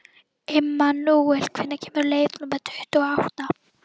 Immanúel, hvenær kemur leið númer tuttugu og átta?